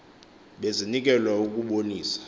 bezinikelw a ukubonisa